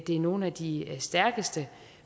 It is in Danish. det er nogle af de stærkeste